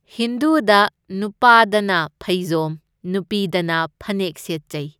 ꯍꯤꯟꯗꯨꯗ ꯅꯨꯄꯥꯗꯅ ꯐꯩꯖꯣꯝ, ꯅꯨꯄꯤꯗꯅ ꯐꯅꯦꯛ ꯁꯦꯠꯆꯩ꯫